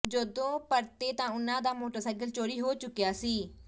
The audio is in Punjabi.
ਜਦੋਂ ਪਰਤੇ ਤਾਂ ਉਨ੍ਹਾਂ ਦਾ ਮੋਟਰਸਾਈਕਲ ਚੋਰੀ ਹੋ ਚੁੱਕਿਆ ਸੀ